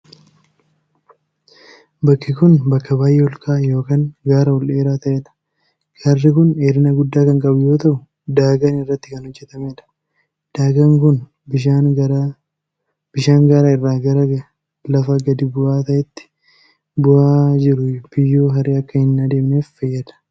Bakki kun, bakka baay'ee ol ka'aa yookin gaara ol dheeraa ta'ee dha. Gaarri kun dheerina guddaa kan qabu yoo ta'u, daagaan irratti kan hojjatamee dha. Daagaan kun bishaan gaara irraa gara lafa gadi bu'aa ta'etti bu'aa jiru biyyoo haree akka hin adeemneef fayyada.